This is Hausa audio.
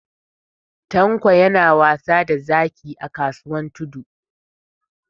Tanko yana wasa da zaki a kasuwan Tudu.